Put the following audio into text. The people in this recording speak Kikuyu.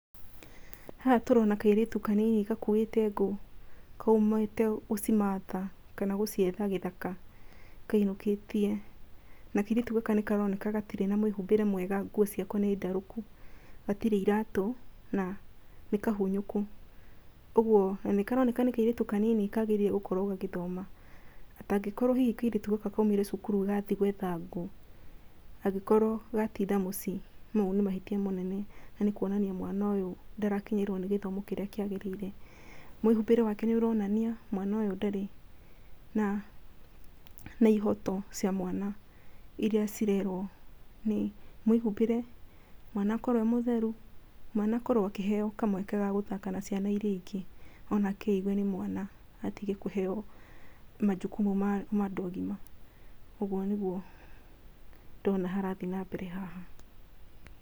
Haha tũrona kairĩtu kanini gakuĩte ngũ kaumĩte gũcimatha, kana gũcietha gĩthaka kainũkĩtie, na kairĩtu gaka nĩ karoneka gatirĩ na mwĩhumbĩre mwega, nguo ciako nĩ ndarũku, gatirĩ iratũ na nĩ kahunyũku, ũguo na nĩ karoneka nĩ kairĩtu kanini kagĩrĩirwo gũkorwo gagĩthoma, atangĩkorwo hihi kairĩtu gaka kaumire thukuru gathi gwetha ngũ, angĩkorwo gatinda mũciĩ, mau nĩ mahĩtia manene kuona mwana ũyũ ndarakinyĩrwo nĩ gĩthomo kĩrĩa kĩagĩrĩire. Mwĩhumbĩre wake nĩ ũronania mwana ũyũ ndarĩ na ihoto cia mwana iria cirerwo nĩ mwĩhumbĩre, mwana akorwo e mũtheru, mwana akorwo akĩheyo kamweke ga gũthaka na ciana iria ingĩ onake eigue nĩ mwana atige kũheyo majukumu ma andũ agima. Ũguo nĩguo ndona harathi na mbere haha.